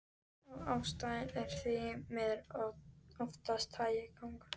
Og ástæðan er því miður oftast hægagangur.